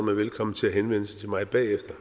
man velkommen til at henvende sig til mig bagefter